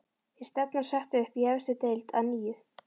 Er stefnan sett upp í efstu deild að nýju?